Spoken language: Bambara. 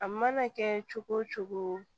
A mana kɛ cogo o cogo